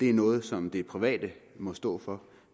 er noget som de private må stå for